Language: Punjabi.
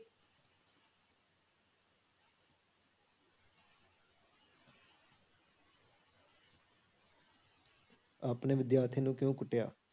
ਆਪਣੇ ਵਿਦਿਆਰਥੀਆਂ ਨੂੰ ਕਿਉਂ ਕੁੱਟਿਆ?